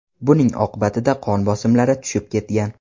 Buning oqibatida qon bosimlari tushib ketgan.